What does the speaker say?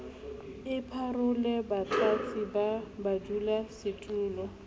le parole batlatsi ba badulasetulo